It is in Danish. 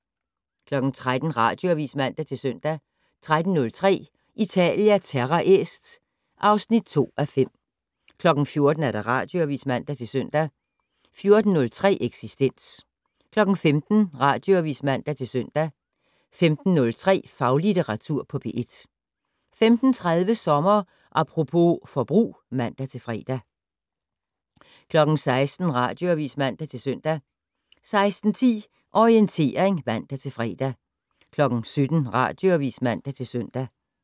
13:00: Radioavis (man-søn) 13:03: Italia Terra Est (2:5) 14:00: Radioavis (man-søn) 14:03: Eksistens 15:00: Radioavis (man-søn) 15:03: Faglitteratur på P1 15:30: Sommer Apropos - forbrug (man-fre) 16:00: Radioavis (man-søn) 16:10: Orientering (man-fre) 17:00: Radioavis (man-søn)